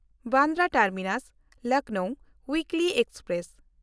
Bandra ᱴᱟᱨᱢᱤᱱᱟᱥ–ᱞᱚᱠᱷᱱᱚᱣ ᱩᱭᱤᱠᱞᱤ express